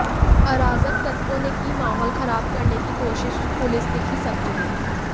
अराज़क तत्वों ने की माहौल ख़राब करने की कोशिश पुलिस दिखी सक्रिय